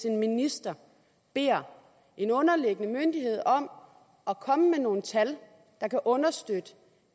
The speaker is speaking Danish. en minister beder en underliggende myndighed om at komme med nogle tal der kan understøtte